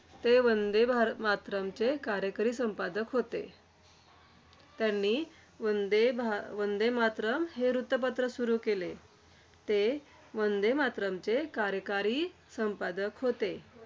ते वंदे भार~ मातरमचे कार्यकारी संपादक होते. त्यांनी वंदे भा~ वंदे मातरम हे वृत्तपत्र सुरु केले. ते वंदे मातरमचे कार्यकारी संपादक होते.